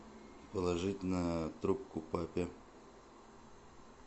положить на трубку папе